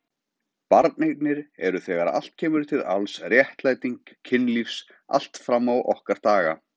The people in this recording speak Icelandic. Barneignir eru þegar allt kemur til alls réttlæting kynlífs allt fram á okkar daga.